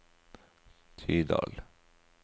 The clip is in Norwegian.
Tydal